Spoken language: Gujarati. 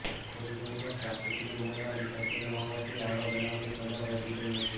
કોરીડોરમાં ટ્રાફિકની અમલવારી થતી ન હોવાથી આવા બનાવોનું પ્રમાણ વધી ગયું હતું